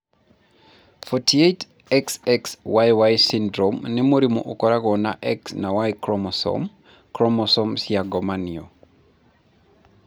48, XXYY syndrome nĩ mũrimũ ũkoragwo na X na Y chromosomes (chromosomes cia ngomanio).